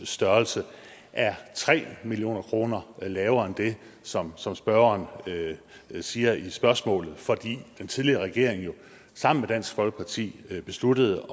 størrelse er tre million kroner lavere end det som som spørgeren siger i spørgsmålet fordi den tidligere regering jo sammen dansk folkeparti besluttede